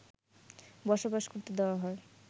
বসবাস করতে দেওয়া হয়